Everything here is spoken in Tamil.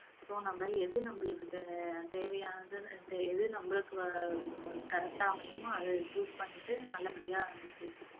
so நம்ம எது நம்மளுக்கு தே~ தேவையானதுன்னு தே~ எது நம்மளுக்கு வ~ correct ஆ அமையுமோ அத choose பண்ணிட்டு நல்லபடியா நம்ம படிக்கணும்